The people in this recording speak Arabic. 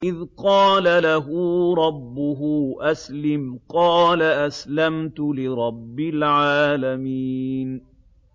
إِذْ قَالَ لَهُ رَبُّهُ أَسْلِمْ ۖ قَالَ أَسْلَمْتُ لِرَبِّ الْعَالَمِينَ